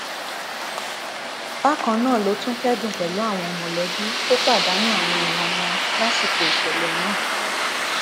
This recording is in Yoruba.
bákan náà ló tún kẹdùn pẹlú àwọn mọlẹbí tó pàdánù àwọn èèyàn wọn lásìkò ìṣẹlẹ náà